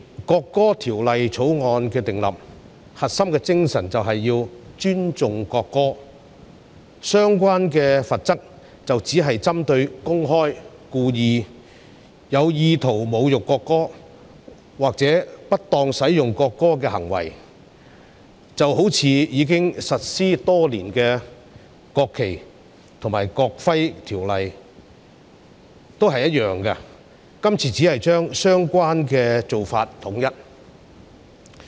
訂立《條例草案》的核心精神，就是要尊重國歌，相關罰則只是針對公開、故意、有意圖侮辱國歌或不當使用國歌的行為，與實施多年的《國旗及國徽條例》相若，今次只是將相關的做法統一。